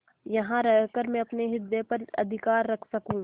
यहाँ रहकर मैं अपने हृदय पर अधिकार रख सकँू